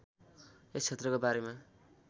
यस क्षेत्रको बारेमा